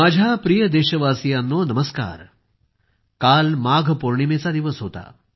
माझ्या प्रिय देशवासियांनो नमस्कार काल माघ पौर्णिमेचा दिवस होता